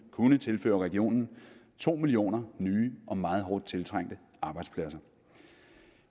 kunne tilføre regionen to millioner nye og meget hårdt tiltrængte arbejdspladser